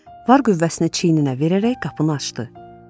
Var qüvvəsini çeçininə verərək qapını açdı.